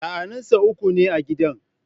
Sa'anninsa uku ne a gidan.